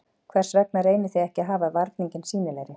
Hvers vegna reynið þið ekki að hafa varninginn sýnilegri?